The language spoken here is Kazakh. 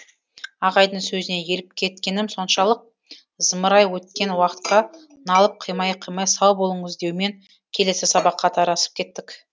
ағайдың сөзіне еліп кеткенім соншалық зымырай өткен уақытқа налып қимай қимай сау болыңыз деумен келесі сабаққа тарасып кеттік